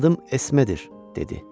Adım Esmedir, dedi.